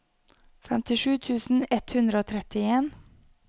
femtisju tusen ett hundre og trettien